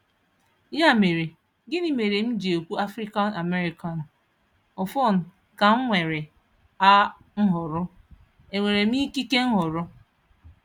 Ya mere, gịnị mere m ji ekwu Afrịkan Ameị́kan? Ọfọn, ka m nwere a nhọrọ? E nwere m ikike nhọrọ?